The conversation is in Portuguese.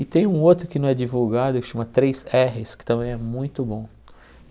E tem um outro que não é divulgado, que chama três érres, que também é muito bom.